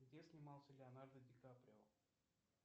где снимался леонардо ди каприо